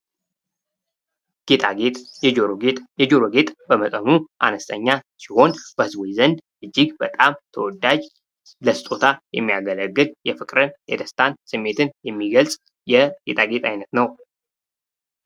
ጌጣጌጥ የጆሮ ጌጥ። የጆሮ ጌጥ በመጠኑ አነስተኛ ሲሆን በህዝቡ ዘንድ እጅግ በጣም ተወዳጅ፣ ለስጦታ የሚያገለግል፣ የፍቅርን ፣ የደስታን ስሜትን የሚገልጽ የ ጌጣጌጥ አይነት ነው።